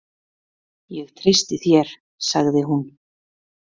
Ég treysti þér, sagði hún.